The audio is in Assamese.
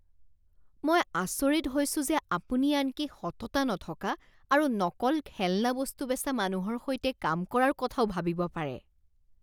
মই আচৰিত হৈছোঁ যে আপুনি আনকি সততা নথকা আৰু নকল খেলনা বস্তু বেচা মানুহৰ সৈতে কাম কৰাৰ কথাও ভাবিব পাৰে।